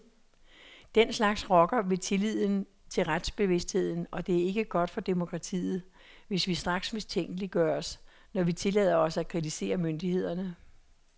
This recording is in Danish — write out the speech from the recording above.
Den slags rokker ved tilliden til retsbevidstheden, og det er ikke godt for demokratiet, hvis vi straks mistænkeliggøres, når vi tillader os at kritisere myndighederne.